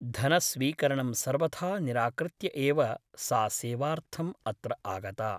धनस्वीकरणं सर्वथा निराकृत्य एव सा सेवार्थम् अत्र आगता ।